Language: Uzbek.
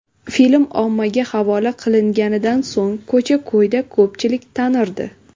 Film ommaga havola qilinganidan so‘ng ko‘cha-ko‘yda ko‘pchilik tanirdi.